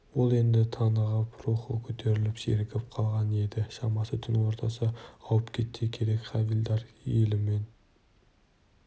ол енді тынығып рухы көтеріліп сергіп қалған еді шамасы түн ортасы ауып кетсе керек хавильдар елімен